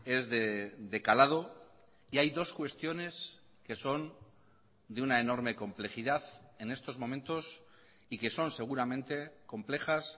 es de calado y hay dos cuestiones que son de una enorme complejidad en estos momentos y que son seguramente complejas